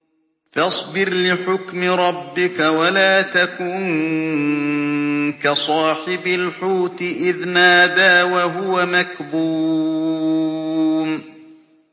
فَاصْبِرْ لِحُكْمِ رَبِّكَ وَلَا تَكُن كَصَاحِبِ الْحُوتِ إِذْ نَادَىٰ وَهُوَ مَكْظُومٌ